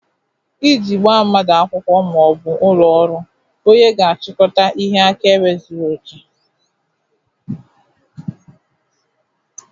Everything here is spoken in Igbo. Iji gbaa mmadụ akwụkwọ ma ọ bụ ụlọ ọrụ, onye ga-achịkọta ihe akaebe zuru oke